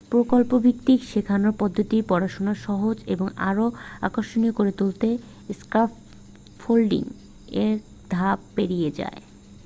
প্রকল্পভিত্তিক শেখানোর পদ্ধতিতে পড়াশোনা সহজ এবং আরও আকর্ষণীয় করে তোলে স্ক্যাফল্ডিং এক ধাপ পেরিয়ে যায়